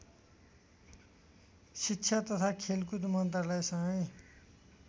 शिक्षा तथा खेलकुद मन्त्रालयसंगै